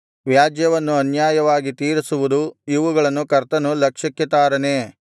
ವ್ಯಾಜ್ಯವನ್ನು ಅನ್ಯಾಯವಾಗಿ ತೀರಿಸುವುದೂ ಇವುಗಳನ್ನು ಕರ್ತನು ಲಕ್ಷ್ಯಕ್ಕೆ ತಾರನೇ